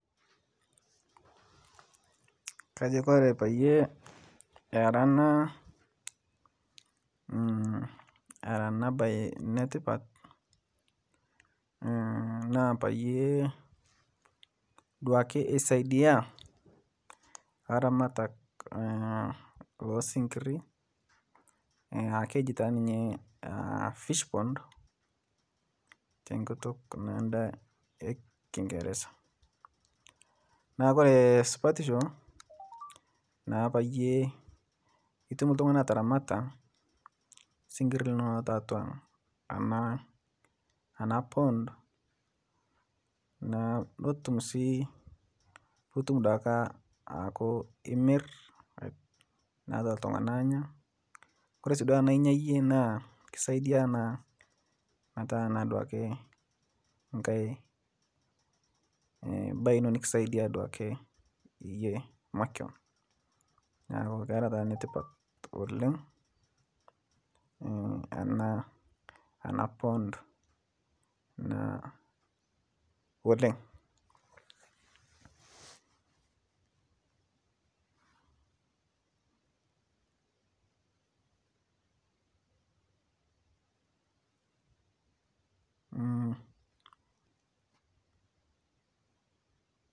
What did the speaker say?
Kajo Kore payie era ana baye netipat naa payie duake esaidia laramatak losinkiri keji taa ninye fishpond tenkut ekingereza, Kore supatisho naapayie itum ltungani ataramata sinkiri linono tatua ana pond netum si aku imirr naa loltungana anya kore si duake tana inya yie naa kisaidia naa meta duake nkae bae ino nikisaidia duake yie makion naaku kera taa netipat oleng ana pond oleng.